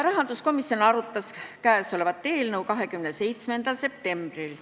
Rahanduskomisjon arutas seda eelnõu 27. septembril.